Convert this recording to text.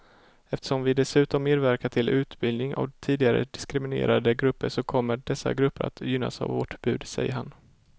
Eftersom vi dessutom medverkar till utbildning av tidigare diskriminerade grupper så kommer dessa grupper att gynnas av vårt bud, säger han.